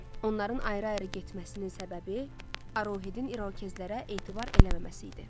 Onların ayrı-ayrı getməsinin səbəbi Arohetin İrokezlərə etibar eləməməsi idi.